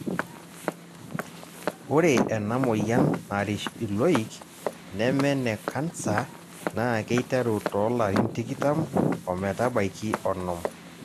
ore ena moyian narish iloik neme ene kansa naa keiteru too larin tikitam ometabaiki onom.